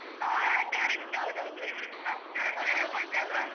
ಹಾ. correct ಹೌದೌದು . ನೆನಪುಂಟಲ್ವ?